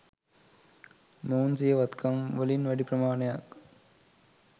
මොවුන් සිය වත්කම්වලින් වැඩි ප්‍රමාණයක්